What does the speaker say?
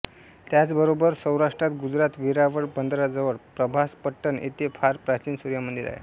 त्याचबरोबर सौराष्ट्रात गुजरात वेरावळ बंदराजवळ प्रभासपट्टण येथे फार प्राचीन सूर्यमंदिर आहे